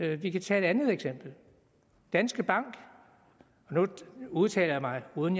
vi kan tage et andet eksempel danske bank og nu udtaler jeg mig uden